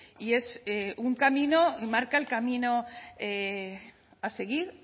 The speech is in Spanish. y es un camino y marca el camino a seguir